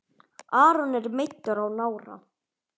Aron er meiddur á nára.